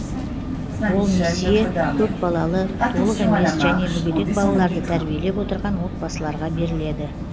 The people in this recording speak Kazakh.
ол несие көпбалалы толық емес және мүгедек балаларды тәрбиелеп отырған отбасыларға беріледі